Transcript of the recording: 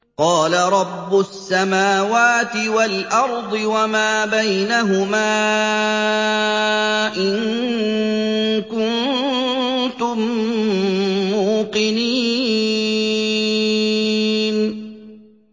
قَالَ رَبُّ السَّمَاوَاتِ وَالْأَرْضِ وَمَا بَيْنَهُمَا ۖ إِن كُنتُم مُّوقِنِينَ